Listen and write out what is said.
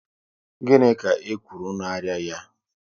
Gịnị ka e kwuru na arịa ya?